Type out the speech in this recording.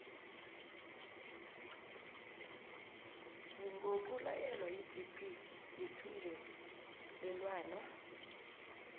ngokulayelwa yigp yethungelelwano